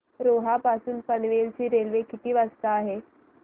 रोहा पासून पनवेल ची रेल्वे किती वाजता आहे